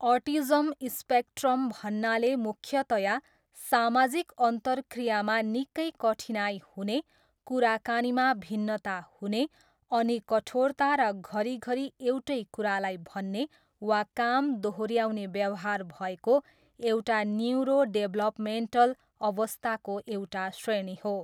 Autism spectrum भन्नाले मुख्यतया सामाजिक अन्तरक्रियामा निकै कठिनाइ हुने, कुराकानीमा भिन्नता हुने अनि कठोरता र घरीघरी एउटै कुरालाई भन्ने वा काम दोहोऱ्याउने व्यवहार भएको एउटा न्युरोडेभलपमेन्टल अवस्थाको एउटा श्रेणी हो।